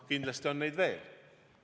Kindlasti on neid veel.